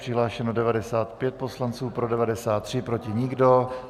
Přihlášeno 95 poslanců, pro 93, proti nikdo.